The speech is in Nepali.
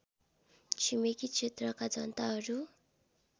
छिमेकी क्षेत्रका जनताहरू